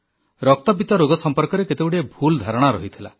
ରକ୍ତପିତ ରୋଗ ସମ୍ପର୍କରେ କେତେଗୁଡ଼ିଏ ଭୁଲ ଧାରଣା ରହିଥିଲା